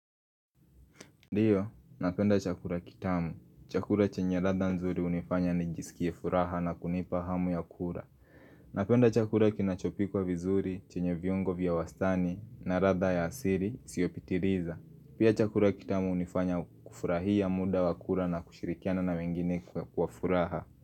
Dio, napenda chakula kitamu. Chakula chenye ratha nzuri unifanya ni jisikie furaha na kunipa hamu ya kula. Napenda chakura kinachopi kwa vizuri chenye viongo vya wastani na ratha ya asiri siopitiriza. Pia chakura kitamu unifanya kufurahia muda wa kura na kushirikiana na wengine kwa furaha.